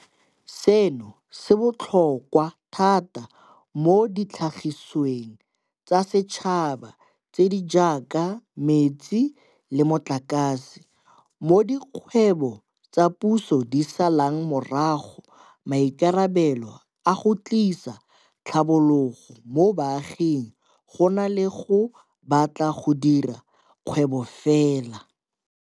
Seno se botlhokwa thata mo ditlhagisiweng tsa setšhaba tse di jaaka metsi le motlakase, mo dikgwebo tsa puso di salang morago maikarabelo a go tlisa tlhabologo mo baaging go na le a go batla go dira kgwebo fela.